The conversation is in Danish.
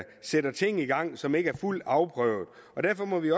sætter ting i gang som ikke er fuldt afprøvet derfor må vi